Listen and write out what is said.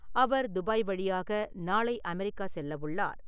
அவர் Dubai வழியாக நாளை America செல்ல உள்ளார்.